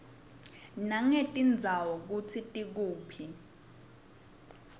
nangetindzawo kutsi tikuphi